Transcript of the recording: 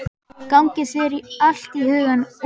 Gangi þér allt í haginn, Úlla.